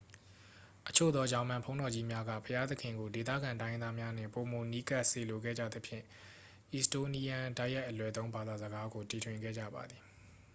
အချို့သော ဂျာမန်ဘုန်းတော်ကြီးများက ဘုရားသခင်ကို ဒေသခံတိုင်းရင်းသားများနှင့် ပိုမိုနီးကပ်စေလိုခဲ့ကြသဖြင့် အီစတိုးနီးယန်း တိုက်ရိုက် အလွယ်သုံး ဘာသာစကားကို တီထွင်ခဲ့ကြပါသည်